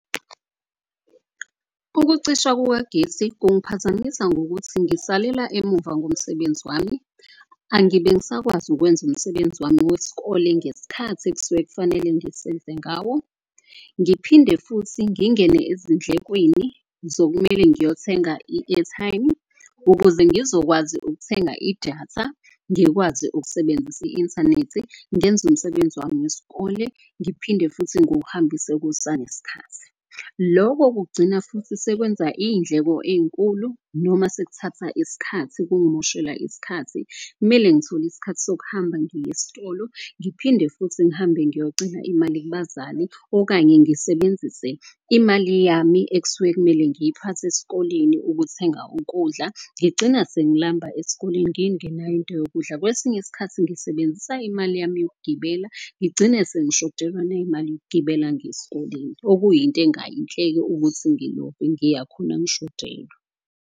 Ukucishwa kukagesi kungiphazamisa ngokuthi ngisalela emuva ngomsebenzi wami. Angibe ngisakwazi ukwenza umsebenzi wami weskole ngeskhathi ekusuke kufanele ngisenze ngawo. Ngiphinde futhi ngingene ezindlekweni zokumele ngiyothenga i-airtime ukuze ngizokwazi ukuthenga idatha. Ngikwazi ukusebenzisa i-inthanethi ngenza umsebenzi wami weskole, ngiphinde futhi nguhambise kusaneskhathi. Loko kugcina futhi sekwenza iyindleko ey'nkulu noma sekuthatha iskhathi, kungimoshela iskhathi. Kumele ngithole iskhathi sokuhamba ngiye estolo ngiphinde futhi ngihambe ngiyocela imali kubazali. Okanye ngisebenzise imali yami ekusuke kumele ngiyiphathe eskoleni ukuthenga ukudla. Ngigcina sengilamba eskoleni ngingenayo into yokudla, kwesinye isikhathi ngisebenzisa imali yami yokugibela. Ngigcine sengishodelwa nayimali yokugibela ngiyeskoleni. Okuyinto engayinhle-ke ukuthi ngilove, ngiya khona ngishodelwa.